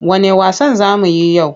Wanne wasan za mu yi yau?